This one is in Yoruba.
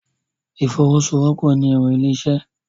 Ìfọwọ́sowọ́pọ̀ ni ẹ̀rọ ilé-isẹ́